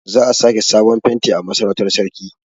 Za a sake sabon fenti a Masarautar sarki.